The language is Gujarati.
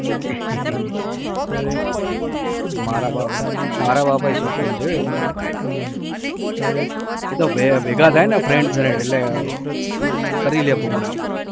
મારા બાપા મારા બાપે શોખીન છે હો એમાં તો. એ તો ભે ભેગા થાય ને friend friend એટલે કરી લે program